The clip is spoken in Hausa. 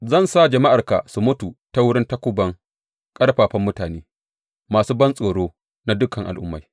Zan sa jama’arka su mutu ta wurin takuban ƙarfafan mutane, masu bantsoro na dukan al’ummai.